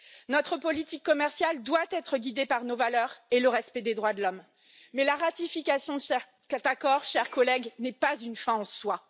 Notre politique commerciale doit être guidée par nos valeurs et le respect des droits de l'homme, mais la ratification de cet accord, chers collègues, n'est pas une fin en soi.